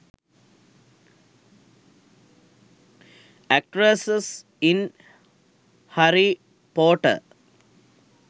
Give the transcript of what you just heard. actress in harry potter